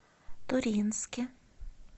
туринске